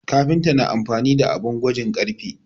Kafinta na amfani da abin gwajin ƙarfe